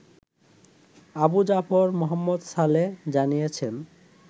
আবু জাফর মোহাম্মদ সালেহ জানিয়েছেন